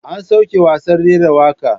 An soke gasar rera waka.